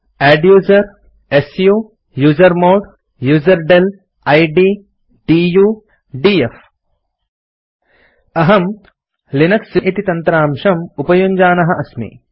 adduser su usermod userdel id du df अहम् Linux इति तन्त्रांशम् उपयुञ्जानः अस्मि